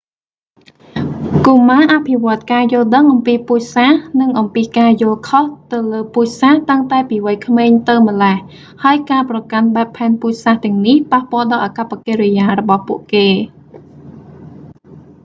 កុមារអភិវឌ្ឍការយល់ដឹងអំពីពូជសាសន៍និងអំពីការយល់ខុសទៅលើពូជសាសន៍តាំងតែពីវ័យក្មេងទៅម្លេះ ហើយការប្រកាន់បែបផែនពូជសាសន៍ទាំងនេះប៉ះពាល់ដល់អាកប្បកិរិយារបស់ពួកគេ